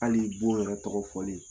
Hali bon yɛrɛ tɔgɔ fɔli